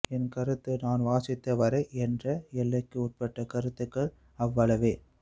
என் கருத்து நான் வாசித்த வரை என்ற எல்லைக்கு உட்பட்ட கருத்துக்கள் அவ்வளவே